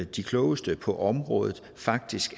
de klogeste på området faktisk